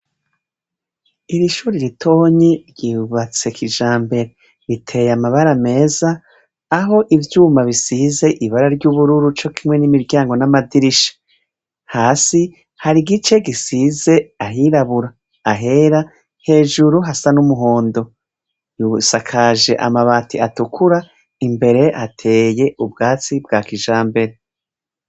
Iri shure ritonyi ryubatse kijambere. Riteye amabara meza, aho ivyumba bisize ibara ry’ubururu co kimwe n’imiryango n’amadirisha. Hasi hari igice gisize ahirabura, ahera, hejuru hasa n’umuhondo. Rusakaje amabati atukura imbere hateye ubwatsi bwa kijambere.